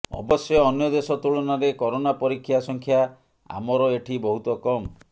ଅବଶ୍ୟ ଅନ୍ୟ ଦେଶ ତୁଳନାରେ କରୋନା ପରୀକ୍ଷା ସଂଖ୍ୟା ଆମର ଏଠି ବହୁତ କମ